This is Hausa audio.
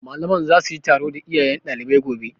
Malaman za su yi taro da iyayen ɗaliban gobe